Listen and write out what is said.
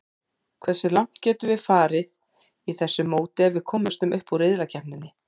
Hversu langt getum við farið í þessu móti ef við komumst upp úr riðlakeppninni?